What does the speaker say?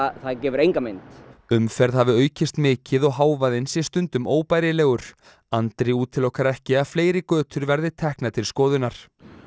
gefur enga mynd umferð hafi aukist mikið og hávaðinn sé stundum óbærilegur Andri útilokar ekki að fleiri götur verði teknar til skoðunar